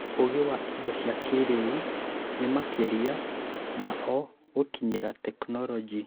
Ūũgĩ wa indo cia kĩĩrĩu nĩ makĩria ma o gũkinyĩra tekinoronjĩ